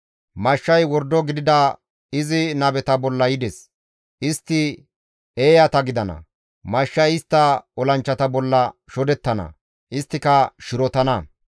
Mashshay wordo gidida izi nabeta bolla yides; istti eeyata gidana; mashshay istta olanchchata bolla shodettana; isttika shirotana.